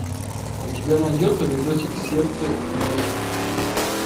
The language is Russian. у тебя найдется видосик сердце и души